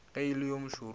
ge e le yo mošoro